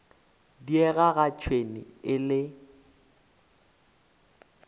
diega ga tšhwene e le